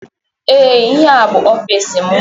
Ee ihe a bu ọfiisi mụ.